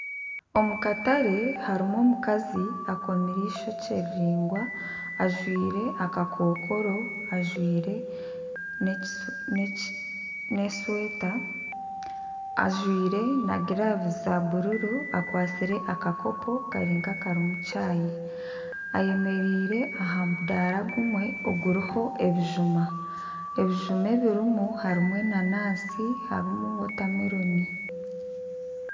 Omukatare harimu omukazi akomire eishokye riraingwa, ajwaire akakokoro ajwaire n'eshweta. Ajwaire na giravuzi za bururu, akwatsire akakopo kari nk'akarimu caayi. Ayemereire aha mudaara gumwe oguriho ebijuma. Ebijuma ebirimu harimu enanansi harimu wotameloni.